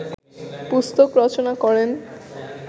পুস্তক রচনা করেন